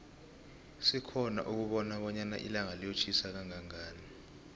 sikhona ukubona bonyana ilanga liyotjhisa kanqanqani